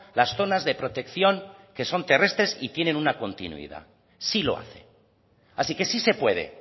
las zonas de protección que son terrestres y tienen una continuidad sí lo hace así que sí se puede